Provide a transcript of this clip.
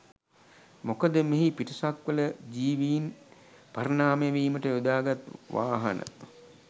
මොකද මෙහි පිටසක්වල ජීවින් පරිණාමනය වීමට යොදාගත් වාහන